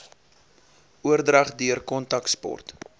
oordrag deur kontaksport